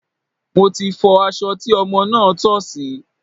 Mo ti fọ aṣọ tí ọmọ náà tọ̀ sí.